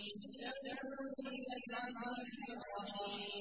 تَنزِيلَ الْعَزِيزِ الرَّحِيمِ